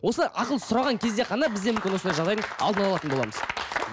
осы ақыл сұраған кезде ғана бізде мүмкін осындай жағдайдың алдын алатын боламыз